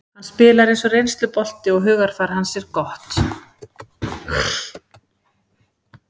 Hann spilar eins og reynslubolti og hugarfar hans er gott.